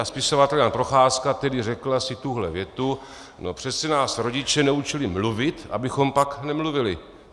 A spisovatel Jan Procházka, který řekl asi tuhle větu: "No přece nás rodiče neučili mluvit, abychom pak nemluvili!